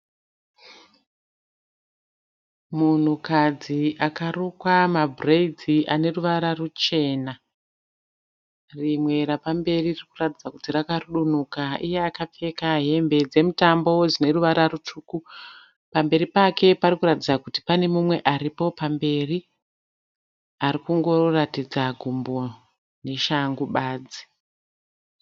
Munhukadzi akarukwa mabhireidzi ane ruvara ruchena. Rimwe rapamberi riri kuratidza kuti rakarudunuka. Iye akapfeka hembe dzemutambo dzine ruvara rutsvuku. Pamberi pake pari kuratidza kuti pane mumwe aripo pamberi ari kungoratidza gumbo neshangu badzi.